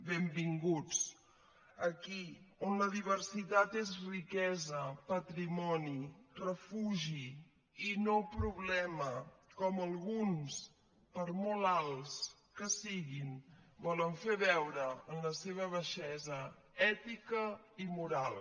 benvinguts aquí on la diversitat és riquesa patrimoni refugi i no problema com alguns per molt alts que siguin volen fer veure en la seva baixesa ètica i moral